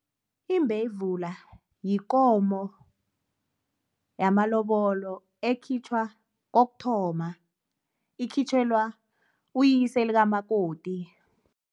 Imbevula yikomo yamalobolo ekhitjhwa kokuthoma, ikhitjhelwa uyise likamakoti.